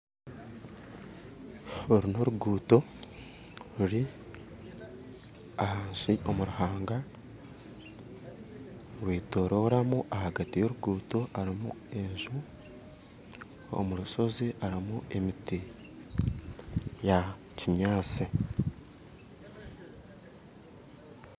Oru n'oruguuto ruri ahansi omu ruhanga rwetororamu ahagati ya oruguuto harimu enju omu rushozi harimu emiti ya kinyatsi